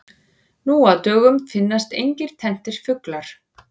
Nú á dögum finnast engir tenntir fuglar.